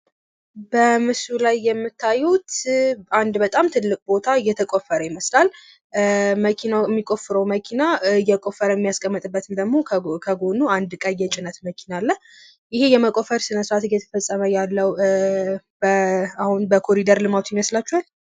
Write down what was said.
በምስሉ ላይ የምታዩት አንድ በጣም ትልቅ ቦታ እየተቆፈረ ይመስላል። መኪናው የሚቆፍረው መኪና እየቆፈረ የሚያስቀምጥበት ደግሞ ከጎኑ አንድ ቀይ የጭነት መኪና አለ። ይሄ የመቆፈር ስነስርዓት እየተፈጸመ ያለው አሁን በኮሪደሩ ይመስላችኋል።